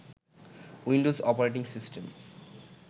Windows operating system